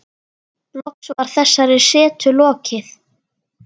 Loks var þessari setu lokið.